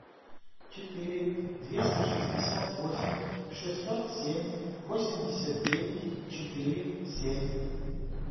четыре двести шестьдесят восемь шестьсот семь восемьдесят девять четыре семь